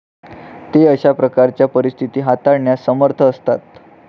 ते अशा प्रकारच्या परिस्थिती हाताळण्यास समर्थ असतात.